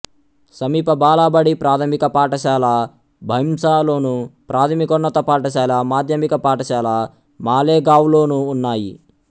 సమీప బాలబడి ప్రాథమిక పాఠశాల భైంసాలోను ప్రాథమికోన్నత పాఠశాల మాధ్యమిక పాఠశాల మాలెగావ్లోనూ ఉన్నాయి